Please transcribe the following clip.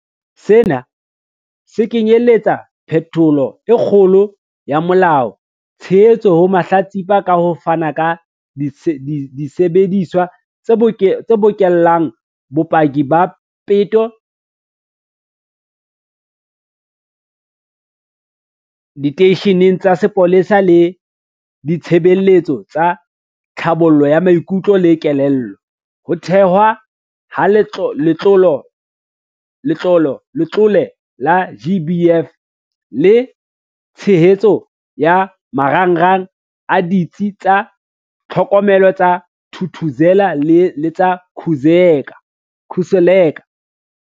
Sena se kenyeletsa phetholo e kgolo ya molao, tshehetso ho mahlatsipa ka ho fana ka disebediswa tse bokellang bopaki ba peto diteisheneng tsa sepolesa le ditshebeletso tsa tlhabollo ya maikutlo le kelello, ho thehwa ha Letlole la GBVF le tshehetso ya marangrang a Ditsi tsa Tlhokomelo tsa Thuthuzela le tsa Khuseleka.